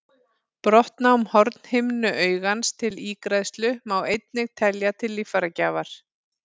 Brottnám hornhimnu augans til ígræðslu má einnig telja til líffæragjafar.